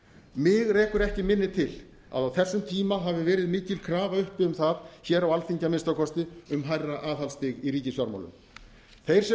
mig rekur ekki minni til að á þessum tíma hafi verið mikil krafa uppi um það hér á alþingi að minnsta kosti um hærra aðhaldsstig í ríkisfjármálum þeir sem